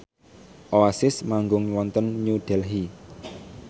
Oasis manggung wonten New Delhi